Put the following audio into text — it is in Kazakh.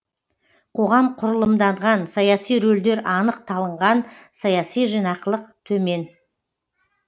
қоғам құрылымданған саяси рөлдер анық талынған саяси жинақылық төмен